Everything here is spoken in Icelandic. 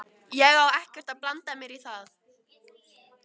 Ég á ekki að blanda mér í það.